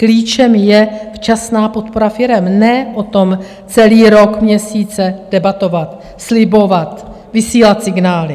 Klíčem je včasná podpora firem, ne o tom celý rok, měsíce debatovat, slibovat, vysílat signály.